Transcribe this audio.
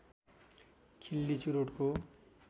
खिल्ली चुरोटको